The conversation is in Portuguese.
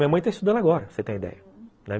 Minha mãe está estudando agora, você tem ideia.